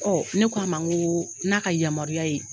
Ne k'a man ŋo n'a ka yamaruya ye